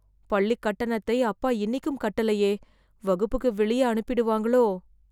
பள்ளி கட்டணத்தை அப்பா இன்னிக்கும் கட்டலயே... வகுப்புக்கு வெளியே அனுப்பிடுவாங்களோ...